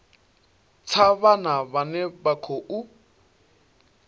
tsha vhana vhane vha khou